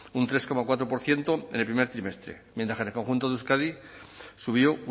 un tres coma cuatro por ciento en el primer trimestre mientras que el conjunto de euskadi subió